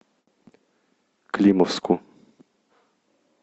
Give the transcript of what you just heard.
климовску